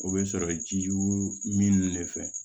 O bɛ sɔrɔ jiwo min ne fɛ